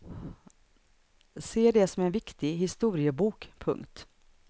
Se det som en viktig historiebok. punkt